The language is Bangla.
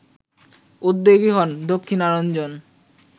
উদ্যোগী হন দক্ষিণারঞ্জন